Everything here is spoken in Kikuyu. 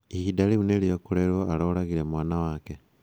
Ihinda rĩu nĩrĩo kũrerwo aroragire mwana wake.